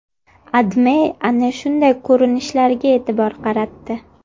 AdMe ana shunday ko‘rinishlarga e’tibor qaratdi .